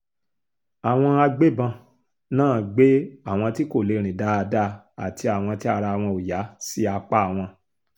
àwọn agbébọn náà gbé àwọn tí kò lè rìn dáadáa àti àwọn tí ara wọn ò yá sí apá wọn